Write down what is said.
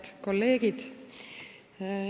Head kolleegid!